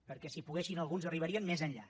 perquè si poguessin alguns arribarien més enllà